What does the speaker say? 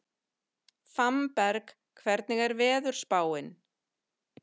Fannberg, hvernig er veðurspáin?